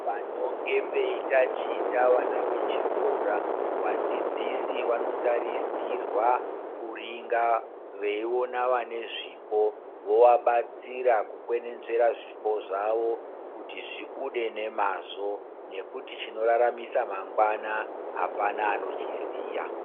Panonge peitaticha vana vechikora vadzidzisi vanotarisirwa kuringa veiona vane zvipo vovabatsira kukwenenzvera zvipo zvawo kuti zvibude nemazvo nekuti chinoraramisa mangwana apana anochiziya.